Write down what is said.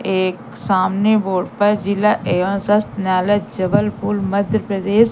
एक सामने बोर्ड पर जिला एवं स्वास्थ्य न्यायालय जबलपुर मध्य प्रदेश--